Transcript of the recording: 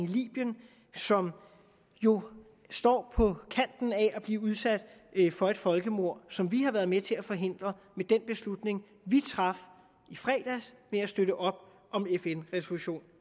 libyen som jo står på kanten af at blive udsat for et folkemord som vi har været med til at forhindre med den beslutning vi traf i fredags ved at støtte op om fn resolution